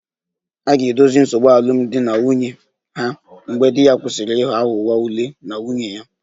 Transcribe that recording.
A ga-edozi nsogbu alụmdi na nwunye ha mgbe di kwụsịrị ịghọ aghụghọ ule na nwunye ya